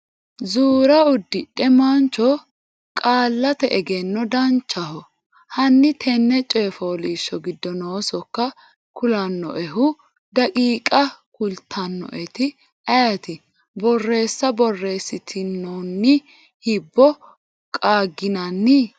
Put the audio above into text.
zuura uddidhino mancho Qaallate Egenno Danchaho, hanni tenne coy fooliishsho giddo noo sokka kulannoehu daqiiqa kultannoeti ayeeti? Borreessa borreessitinoonni hibbo qaagginanni?